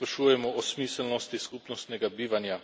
da se sprašujemo o smiselnosti skupnostnega bivanja.